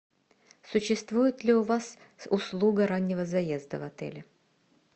существует ли у вас услуга раннего заезда в отеле